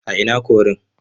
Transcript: A ina korin?